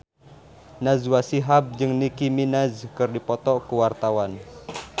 Najwa Shihab jeung Nicky Minaj keur dipoto ku wartawan